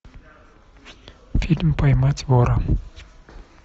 фильм поймать вора